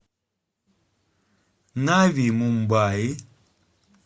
нави мумбаи